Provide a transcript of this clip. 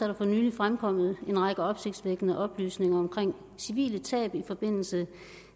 der for nylig fremkommet en række opsigtsvækkende oplysninger om civile tab i forbindelse